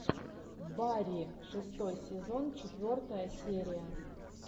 барри шестой сезон четвертая серия